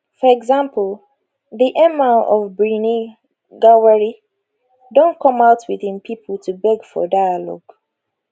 for example di emir of birnin gwari don come wit im pipo to beg for dialogue